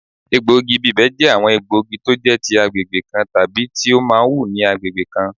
Egbògi ibibẹ̀ jẹ́ àwọn egbògi tó jẹ́ ti agbègbè kan tàbí tí ó máa wù ní agbègbè kan